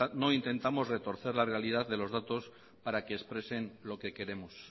no intentamos retorcer la realidad de los datos para que expresen lo que queremos